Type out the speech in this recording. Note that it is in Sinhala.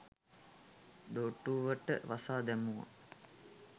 දොටුවට වසා දැමුවා.